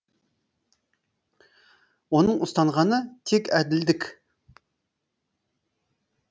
оның ұстанғаны тек әділдік